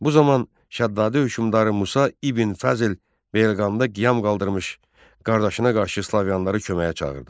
Bu zaman Şəddadə hökümdarı Musa İbn Fəzl Beyləqanda qiyam qaldırmış qardaşına qarşı Slaviyalıları köməyə çağırdı.